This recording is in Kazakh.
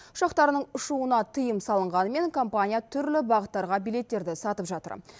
ұшақтарының ұшуына тыйым салынғанымен компания түрлі бағыттарға билеттерді сатып жатыр